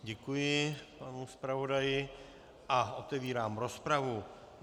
Děkuji panu zpravodaji a otevírám rozpravu.